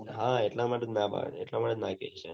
હા એટલા માટે જ ના કીઘી